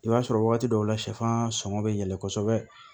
I b'a sɔrɔ wagati dɔw la sɛfan sɔngɔ bɛ yɛlɛ kosɛbɛ